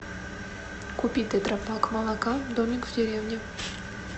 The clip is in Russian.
купи тетрапак молока домик в деревне